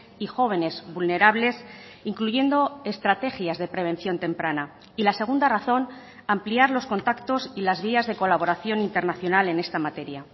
y jóvenes vulnerables incluyendo estrategias de prevención temprana y la segunda razón ampliar los contactos y las vías de colaboración internacional en esta materia